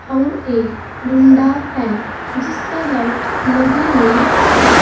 अउर एक डंडा है जिस पर लाइट लगी हुई है।